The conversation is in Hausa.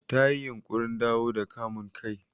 Ta yi yunƙurin dawo da kamun kai.